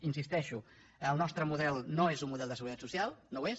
hi insisteixo el nostre model no és un model de seguretat social no ho és